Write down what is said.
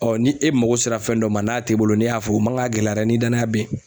ni e mago sera fɛn dɔ ma n'a t'i bolo n'i y'a fɔ o man ka gɛlɛyara dɛ ni danaya be ye.